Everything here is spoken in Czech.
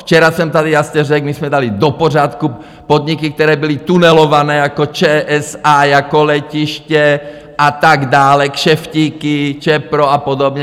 Včera jsem tady jasně řekl, my jsme dali do pořádku podniky, které byly tunelovány, jako ČSA, jako letiště a tak dále - kšeftíky, ČEPRO a podobně.